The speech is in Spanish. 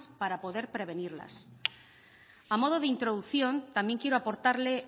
para poder prevenirlas a modo de introducción también quiero aportarle